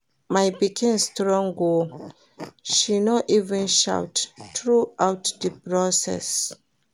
My pikin strong oo, she no even shout throughout the process